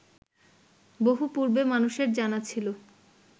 বহু পূর্বে মানুষের জানা ছিল